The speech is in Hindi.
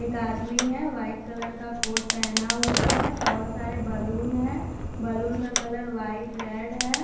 एक आदमी है वाइट कलर का कोट पहना हुआ है बहुत सारे बैलून हैं बैलून का कलर व्हाइट रेड है।